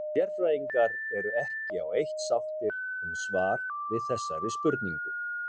Sérfræðingar eru ekki á eitt sáttir um svar við þessari spurningu.